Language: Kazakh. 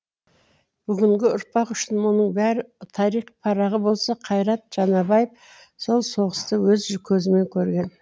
бүгінгі ұрпақ үшін мұның бәрі тарих парағы болса қайрат жанабаев сол соғысты өз көзімен көрген